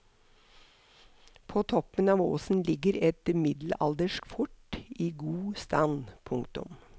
På toppen av åsen ligger et middelaldersk fort i god stand. punktum